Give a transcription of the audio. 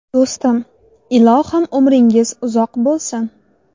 Do‘stim, ilohim, umringiz uzoq bo‘lsin!